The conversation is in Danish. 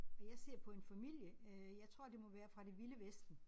Og jeg ser på en familie øh jeg tror det må være fra det vilde vesten